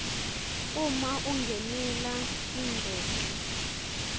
uma ungenela tingcoco